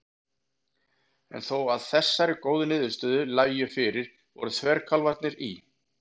En þó að þessar góðu niðurstöður lægju fyrir voru þverkálfarnir í